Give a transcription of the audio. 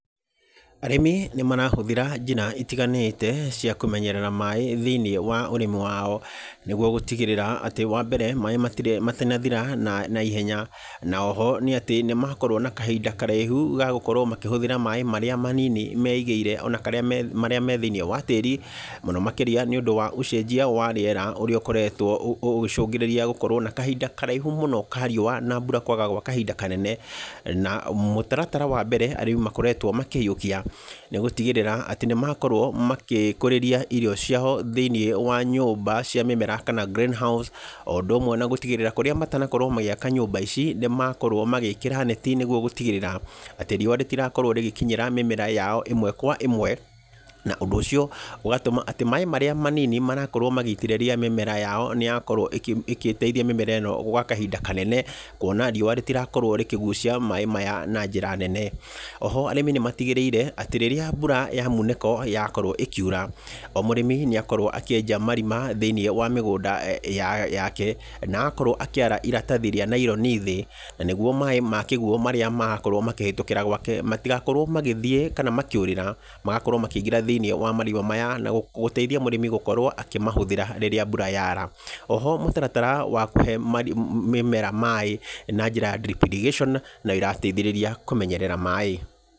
Arĩmi nĩ marahũthĩra njĩra itiganĩte cia kũmenyerera maĩ thĩinĩ wa ũrĩmi wao. Nĩguo gũtigĩrĩra atĩ wa mbere maĩ matinathira naihenya na oho nĩ atĩ nĩ makorwo na kahinda karaihu ga gũkorwo makĩhũthĩra maĩ marĩa manini meigĩire ona marĩa me thĩinĩ wa tĩĩri. Mũno makĩria nĩ ũndũ wa ũcenjia wa rĩera ũrĩa ũkoretwo ũgĩcũngĩrĩria gũkorwo na kahinda karaihu mũno ka riũa na mbura kwaga gwa kahinda kanene. Na mũtaratara wa mbere arĩmi makoretwo makĩiyũkia nĩ gũtigĩrĩra atĩ nĩ makorwo magĩkũrĩria irio ciao thĩinĩ wa nyũmba cia mĩmera kana green house, o ũndũ ũmwe na gũtigĩrĩra kũrĩa matanakorwo magĩaka nyũmba ici nĩ makorwo magĩĩkĩra neti nĩguo gũtigĩrĩra atĩ riũa rĩtirakorwo rĩgĩkinyĩra mĩmera yao ĩmwe kwa ĩmwe. Na ũndũ ũcio ũgatũma atĩ maĩ marĩa manini marakorwo magĩitĩrĩria mĩmera yao nĩ yakorwo ĩgĩteithia mĩmera ĩno gwa kahinda kanene. Kuona riũa rĩtirakorwo rĩkĩgucia maĩ maya na njĩra nene. Arĩmi nĩ matigĩrĩire atĩ rĩrĩa mbura ya munĩko yakorwo ĩkiura, o mũrĩmi nĩ akorwo akĩenja marima thĩinĩ wa mĩgũnda yake, na akorwo akĩara iratathi rĩa nylon thĩ. Na nĩguo maĩ ma kĩguo marĩa marahĩtũkĩra gwake matigakorwo magĩthiĩ kana makĩũrĩra. Magakorwo makĩingĩra thĩinĩ wa marima maya na gũteithia mũrĩmi gũkorwo akĩmahũthĩra rĩrĩa mbura yaara. Oho mũtaratara wa kũhe mĩmera maĩ na njĩra ya Drip irrigation no ĩrateithĩrĩra kũmenyerera maĩ.